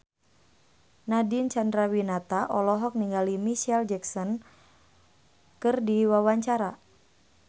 Nadine Chandrawinata olohok ningali Micheal Jackson keur diwawancara